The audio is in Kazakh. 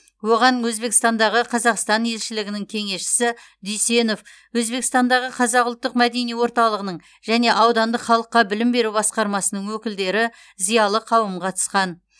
оған өзбекстандағы қазақстан елшілігінің кеңесшісі дүйсенов өзбекстандағы қазақ ұлттық мәдени орталығының және аудандық халыққа білім беру басқармасының өкілдері зиялы қауым қатысқан